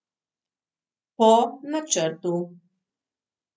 Po načrtu.